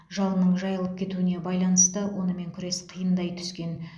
жалынның жайылып кетуіне байланысты онымен күрес қиындай түскен